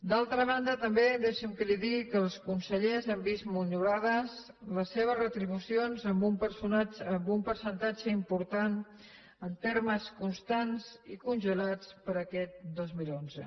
d’altra banda també deixi’m que li digui que els consellers han vist minorades les seves retribucions en un percentatge important en termes constants i congelades per a aquest dos mil onze